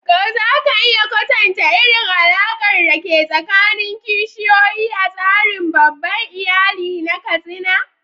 Ko za ka iya kwatanta irin alaƙar da ke tsakanin kishiyoyi a tsarin babban iyali na Katsina?